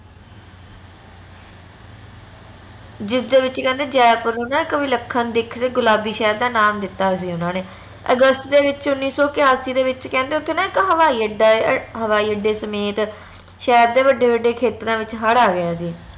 ਜਿਸ ਦੇ ਵਿਚ ਕਹਿੰਦੇ ਜੈਪੁਰ ਨੂੰ ਇਕ ਵਿਲੱਖਣ ਦੇਖ ਗੁਲਾਬੀ ਸ਼ਹਿਰ ਦਾ ਨਾਂ ਦਿਤਾ ਸੀ ਓਨਾ ਨੇ ਅਗਸਤ ਦੇ ਵਿਚ ਉੱਨੀ ਸੋ ਕਯਾਸੀ ਦੇ ਵਿਚ ਕਹਿੰਦੇ ਓਥੇ ਨਾ ਇਕ ਹਵਾਈ ਅੱਡਾ ਆ ਹਵਾਈ ਅਡੇ ਸਮੇਤ ਸ਼ਹਿਰ ਦੇ ਵੱਡੇ ਵੱਡੇ ਖੇਤਰਾਂ ਵਿਚ ਹੜ ਆ ਗਿਆ ਸੀ